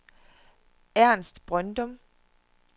Ernst Brøndum